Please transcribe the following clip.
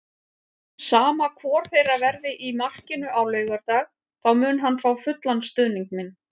Sama hvor þeirra verði í markinu á laugardag þá mun hann fá fullan stuðning minn.